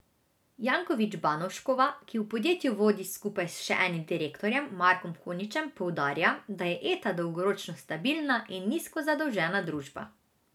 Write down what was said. Jankovič Banovškova, ki podjetje vodi skupaj s še enim direktorjem Markom Koničem, poudarja, da je Eta dolgoročno stabilna in nizko zadolžena družba.